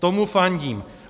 Tomu fandím.